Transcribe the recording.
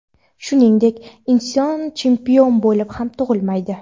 Shuningdek, inson chempion bo‘lib ham tug‘ilmaydi.